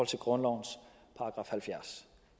til grundlovens § halvfjerds